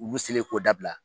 Ulu selen k'o dabila.